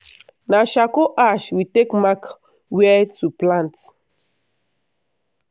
na charcoal ash we take mark wia to plant.